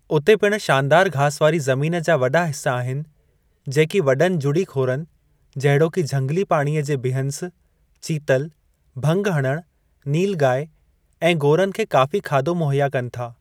उते पिणु शानदारु घास वारी ज़मीन जा वॾा हिसा आहिनि, जेकी वॾनि जुड़ी ख़ोरन जहिड़ोकि झंगिली पाणीअ जे बिहँस, चीतल, भंग हणणु, नीलगाई ऐं गोरनि खे काफ़ी खाधो मुहया कनि था।